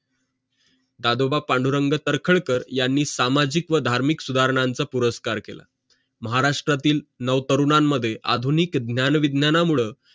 दादोबा पांडुरंग तर्खडकर यांनी सामाजिक व धार्मिक सुधारणांचा पुरस्कार केलं महाराष्ट्रातील नाव तरुणानं मध्ये आधुनिक ज्ञान विज्ञाना मूड